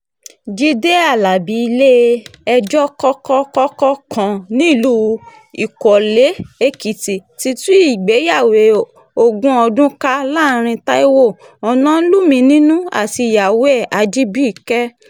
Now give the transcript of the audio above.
jíde alábi ilé-ẹjọ́ kọ́kọ́-kọ́kọ́ kan nílùú ìkọ́lé-èkìtì ti tú ìgbéyàwó ogún ọdún ká láàrin taiwo onoluminú àti ìyàwó ẹ̀ ajibike